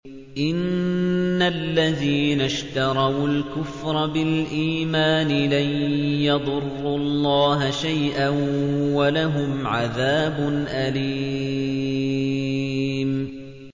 إِنَّ الَّذِينَ اشْتَرَوُا الْكُفْرَ بِالْإِيمَانِ لَن يَضُرُّوا اللَّهَ شَيْئًا وَلَهُمْ عَذَابٌ أَلِيمٌ